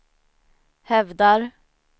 hävdar